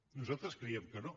nosaltres creiem que no